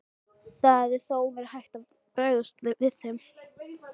Það hefði þó verið hægt að bregðast við þeim.